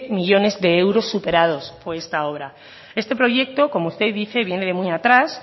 millónes de euros superados por esta obra este proyecto como usted dice viene de muy atrás